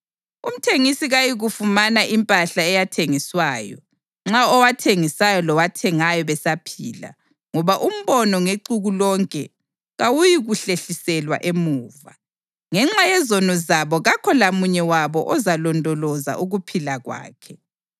Umthengisi kayikuyifumana impahla eyathengiswayo, nxa owathengisayo lowathengayo besaphila, ngoba umbono ngexuku lonke kawuyikuhlehliselwa emuva. Ngenxa yezono zabo kakho lamunye wabo ozalondoloza ukuphila kwakhe.